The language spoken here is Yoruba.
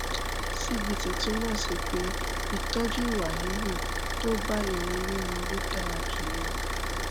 cbt túmọ sí pé ìtọjú ìwà híhù tó bá èrò orí mu ló dára jùlọ